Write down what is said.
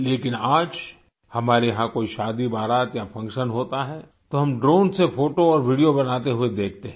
लेकिन आज हमारे यहाँ कोई शादी बारात या फंक्शन होता है तो हम ड्रोन से फोटो और वीडियो बनाते हुए देखते हैं